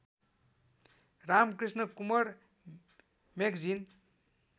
Ramakrishna Kunwar magazine